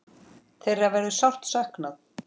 Þeirra verður sárt saknað.